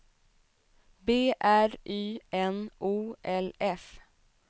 B R Y N O L F